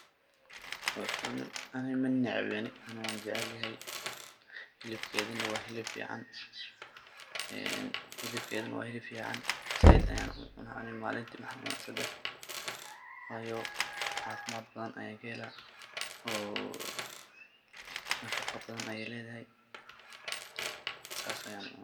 horta ani manecbaani ani wan jecelyahay, hilibkeeda na wa hilib fican een, zaaid ayan u cunaa malinti waxan cunaa sedax wayo caafimad badan ayan ka helaa oo nafaqaa badan ayay leedahay sas ayan ujeclahay